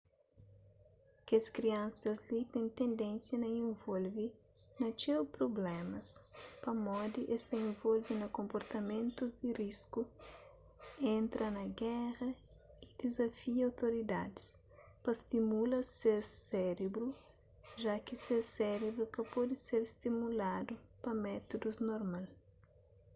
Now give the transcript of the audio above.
kes kriansas li ten tendénsia na involve na txeu prublémas pamodi es ta involve na konportamentus di risku entra na géra y dizafia outoridadis pa stimula ses sérebru ja ki ses sérebru ka pode ser stimuladu pa métudus normal